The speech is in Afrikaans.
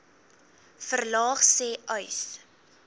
verlaag sê uys